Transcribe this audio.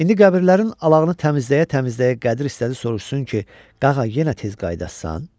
İndi qəbirlərin alağını təmizləyə-təmizləyə Qədir istədi soruşsun ki, Qağa yenə tez qayıdacaqsan?